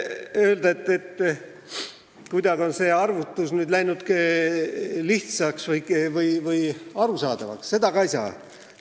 Öelda, et see arvutus on läinud lihtsaks või arusaadavaks, ka ei saa.